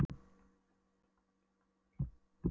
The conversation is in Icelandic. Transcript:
Þótt hann hefði verið viðloðandi íslenska hópinn frá því í